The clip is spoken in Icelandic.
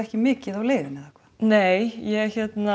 ekki mikið á leiðinni eða hvað nei ég